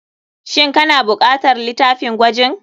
Shin kana bukatar litafin gwajin.